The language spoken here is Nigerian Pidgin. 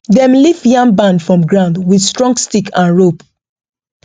dem lift yam barn from ground with strong stick and rope